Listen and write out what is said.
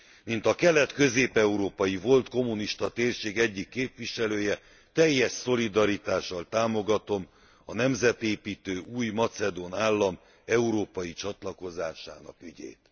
Mint a kelet közép európai volt kommunista térség egyik képviselője, teljes szolidaritással támogatom a nemzetépítő új macedón állam európai csatlakozásának ügyét.